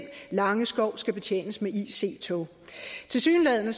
langeskov skal betjenes med ic tog tilsyneladende